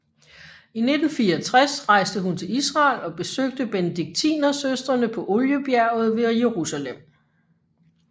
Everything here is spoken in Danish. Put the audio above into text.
I 1964 rejste hun til Israel og besøgte Benediktinersøstrene på Oliebjerget ved Jerusalem